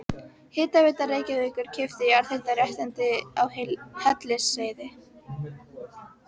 Hitaveita Reykjavíkur keypti jarðhitaréttindi á Hellisheiði.